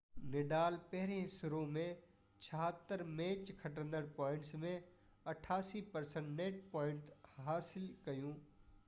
Nadal پهرين serve ۾ 76 match کٽندڙ points ۾ 88% net points حاصل ڪيون